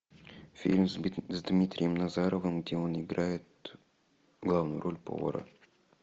фильм с дмитрием назаровым где он играет главную роль повара